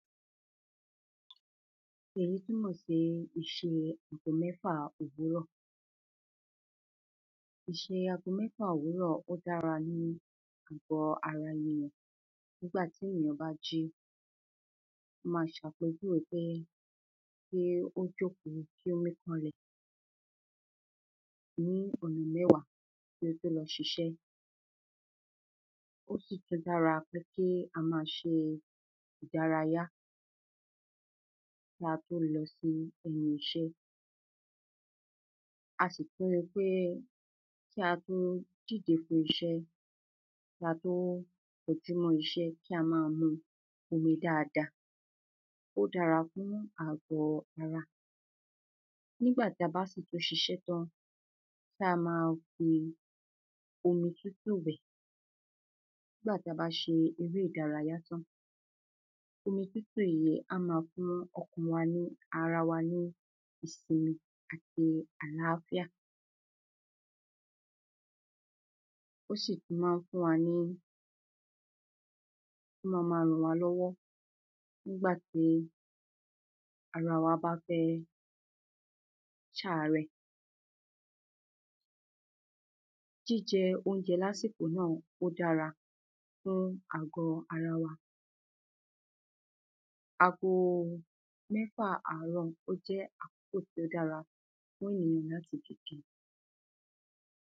èyí túmọ̀ sí ìṣe ago mẹ́fà òwúrọ̀ ìṣe ago mẹ́fà òwúrọ̀ ó dára ní ìbọ́ ara ẹni lọ̀ nígbà tí èyàn bá jí, ma ń sọpé bíi pé kí ó jòkó kí ó míkanlẹ̀ ní ọ̀nà mẹ́wàá kí ó tó lọ ṣiṣẹ́ ó sì tún dára pé kí a má ṣe ìdárayá kí a tó lọ sí ẹnu iṣẹ́ a sì tún ríi pé kí a tó dìde fún iṣẹ́, kí a tó kọjú mọ́ iṣẹ́, kí a máa mu omi dáadáa ó dára fún agọ̀ ara. nígbà tí a bá sì tún ṣiṣẹ́ tán, kí a má fi omi tútù wẹ̀ nígbà táa bá ṣe eré ìdárayá tán, omi omi tútù yi á ma fún ọkàn wa ní ara wa ní ìsinmi àti aláfíà ó sì tún ma ń fún wa ní, ó máa ma rànwálọ́wọ́ nígbàtí ara wa bá fẹ́ ṣàárẹ̀. Jíjẹ oúnjẹ lásìkò náà, ó dára fún àgọ́ ara wa. Ago mẹ́fà àárọ̀, ó jẹ́ àkókò tó dára fún èyàn láti dìde.